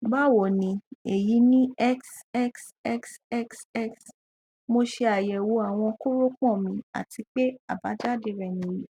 báwo ni èyí ni xxxxx mo ṣe àyẹwò àwọn kórópọn mi àti pé àbájáde rẹ nìyí